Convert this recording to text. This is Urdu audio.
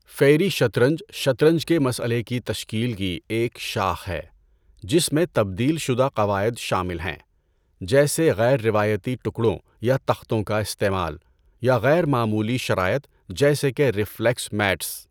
فیری شطرنج شطرنج کے مسئلے کی تشکیل کی ایک شاخ ہے جس میں تبدیل شدہ قواعد شامل ہیں، جیسے غیر روایتی ٹکڑوں یا تختوں کا استعمال، یا غیر معمولی شرائط جیسے کہ ریفلیکس میٹس۔